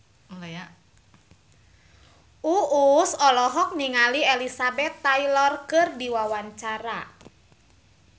Uus olohok ningali Elizabeth Taylor keur diwawancara